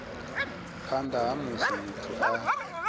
phanḓa ha musi muthu a